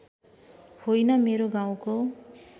होइन मेरो गाउँको